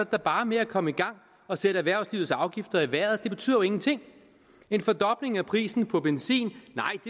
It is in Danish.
da bare med at komme i gang og sætte erhvervslivets afgifter i vejret det betyder jo ingenting en fordobling af prisen på benzin